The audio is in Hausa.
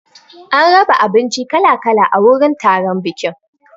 An raba abinci kala kala a wurin taron bikin.